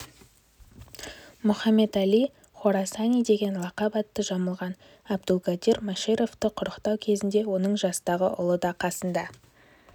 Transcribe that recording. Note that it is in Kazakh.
мұхаммед әл-хорасани деген лақап атты жамылған абдулгадир машариповты құрықтау кезінде оның жастағы ұлы да қасында